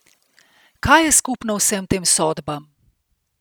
Kaj je skupno vsem tem sodbam?